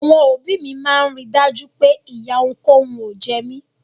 Àwọn òbí mi máa ń rí i dájú pé ìyà ohunkóhun ò jẹ mí.